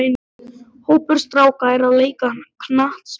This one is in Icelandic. Hópur stráka er að leika knattspyrnu.